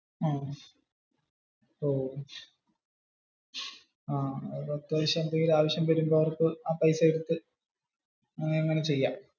ഓ. അപ്പോ എന്തേലും അത്യാവശ്യം ഉള്ള ഒരു ആവശ്യം വരുമ്പോ ആ പൈസ എടുത്ത് അത് അങ്ങനെ ചെയാം